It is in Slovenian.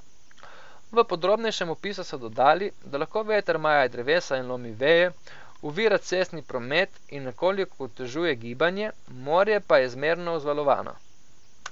V podrobnejšem opisu so dodali, da lahko veter maje drevesa in lomi veje, ovira cestni promet in nekoliko otežuje gibanje, morje pa je zmerno vzvalovano.